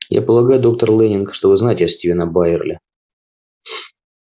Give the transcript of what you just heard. я полагаю доктор лэннинг что вы знаете стивена байерли